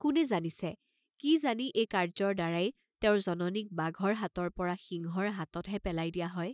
কোনে জানিছে, কি জানি এই কাৰ্য্যৰ দ্বাৰায় তেওঁৰ জননীক বাঘৰ হাতৰ পৰা সিংহৰ হাতত হে পেলায় দিয়া হয়?